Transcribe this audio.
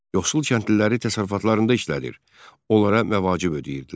Yoxsul kəndliləri təsərrüfatlarında işlədir, onlara məvacib ödəyirdilər.